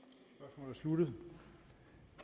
nogen